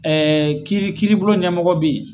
kiiri kiiribulon ɲɛmɔgɔ be ye.